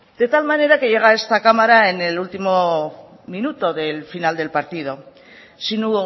de tal manera que llega a esta cámara en el último minuto del final del partido si no